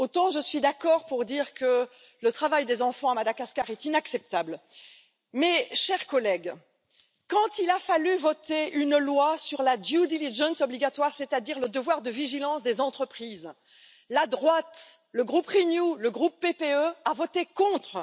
Je suis d'accord pour dire que le travail des enfants à Madagascar est inacceptable, mais, chers collègues, quand il a fallu voter une loi sur la due diligence obligatoire, c'est à dire le devoir de vigilance des entreprises, la droite le groupe Renew, le groupe PPE a voté contre!